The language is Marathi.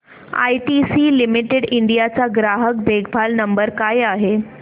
आयटीसी लिमिटेड इंडिया चा ग्राहक देखभाल नंबर काय आहे